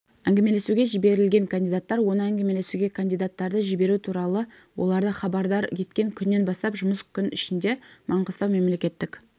әңгімелесуге жіберілген кандидаттар оны әңгімелесуге кандидаттарды жіберу туралы оларды хабардар еткен күннен бастап жұмыс күн ішінде маңғыстау мемлекеттік